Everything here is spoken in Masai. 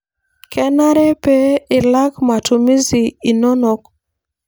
kenare pee ilak matumizi inonok